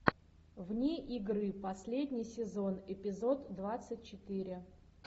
вне игры последний сезон эпизод двадцать четыре